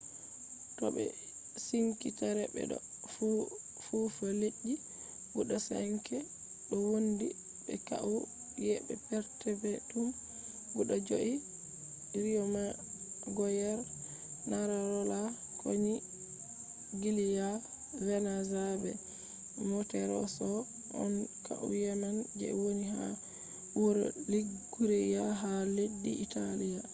to ɓe wi sink terre ɓe ɗo nufa leddi guda 5 ɗo wondi be kauye perpetum guda joi riyomagoyer manarola konigliya venaza be monterosso on kauyeman je woni ha wuro liguriya ha leddi italiya